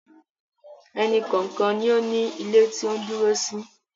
Ẹnì kọ̀ọ̀kan ni ó ní ilé tí ó ń dúró sí